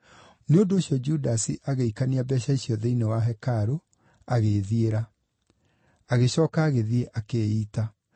Nĩ ũndũ ũcio Judasi agĩikania mbeeca icio thĩinĩ wa hekarũ, agĩĩthiĩra. Agĩcooka agĩthiĩ akĩĩita.